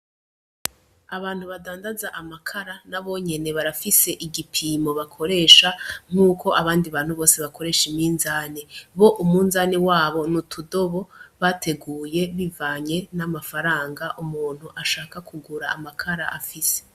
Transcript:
Abantu badandaza amakara nabo nyene barafise igipimo bakoresha nkuko abandi bantu bose bakoresha iminzane, bo umunzane wabo n'utudobo bateguye bivanye n'amafaranga umuntu ashaka kugura amakara afise.